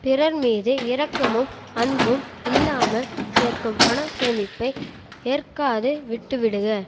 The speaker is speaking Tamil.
பிறர்மீது இரக்கமும் அன்பும் இல்லாமல் சேர்க்கும் பண சேமிப்பை ஏற்காது விட்டு விடுக